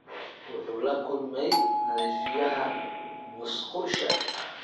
Wuxuu la kulmay nadiifiyaha musqusha.